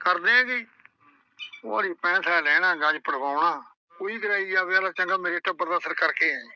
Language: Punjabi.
ਕਰ ਦੇਂਗੀ? ਉਹ ਆਹਂਦੀ ਪੈਸਾ ਲੈਣਾ ਪੜਵਾਉਣਾ ਉਈਂ ਡਰਾਈ ਜਾਵੇ ਕਹਿੰਦਾ ਚੰਗਾ ਮੇਰੇ ਤੋਂ ਕਰ ਕੇ ਆਂਈ